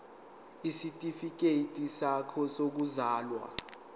isitifikedi sakho sokuzalwa